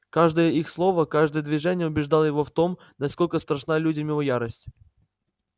каждое их слово каждое движение убеждало его в том насколько страшна людям его ярость